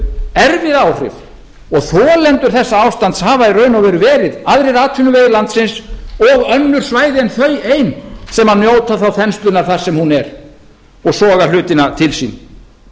erfið áhrif og þolendur þessa ástands hafa í raun og veru verið aðrir atvinnuvegir landsins og önnur svæði en þau ein sem njóta þá þenslunnar þar sem hún er og soga hlutina til sín